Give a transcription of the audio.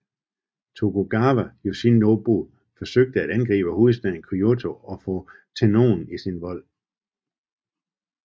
Tokugawa Yoshinobu forsøgte at angribe hovedstaden Kyōto og få Tennōen i sin vold